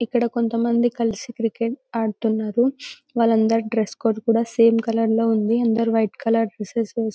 ఇక్కడ కొంత మంది కలిసి క్రికెట్ ఆడుతున్నారు వాళ్ళకి డ్రెస్ కోడ్ కూడా సేమ్ కలర్ లో ఉంది అందరు వైట్ కలర్ డ్రెస్సెస్ వేస్ --.